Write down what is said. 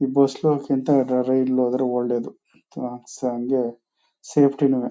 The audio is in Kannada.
ಈ ಬಸ್ಸ್ಲೋಗದ್ಕಿಂತ ರೈಲಲ್ಲಿ ಹೋದ್ರೆ ಒಳ್ಳೇದು ಸಂಜೆ ಸೇಫ್ಟಿ ನುವೆ.